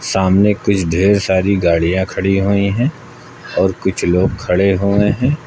सामने कुछ ढेर सारी गाड़ियां खड़ी हुई है और कुछ लोग खड़े हुए हैं।